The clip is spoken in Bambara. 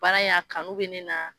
Baara ina kanu bɛ ne na.